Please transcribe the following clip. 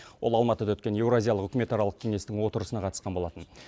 ол алматыда өткен еуразиялық үкімет аралық кеңестің отырысына қатысқан болатын